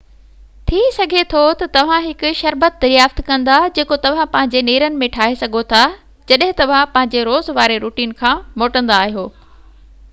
ٿي سگهي ٿو تہ توهان هڪ شربت دريافت ڪندا جيڪو توهان پنهنجي نيرن ۾ ٺاهي سگهو ٿا جڏهن توهان پنهنجي روز واري روٽين کان موٽيندا آهيو